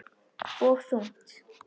Og þungt.